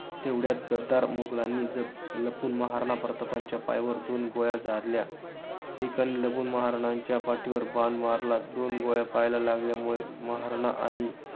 तेवढ्यात गद्दार मुघलांनी, लपून महाराणा प्रतापांच्या पायावर दोन गोळ्या झाडल्या. एकाने लपून महाराणांच्या पाठीवर बाण मारला. दोन गोळ्या पायाला लागल्यामुळे महाराणा आणि